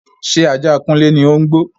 Ṣé ajá kunle ni ó ń gbó?